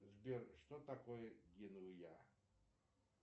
сбер что такое генуя